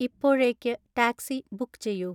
ഇപ്പോഴേക്ക് taxi book ചെയ്യൂ